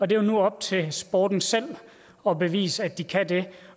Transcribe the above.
det er nu op til sporten selv at bevise at de kan det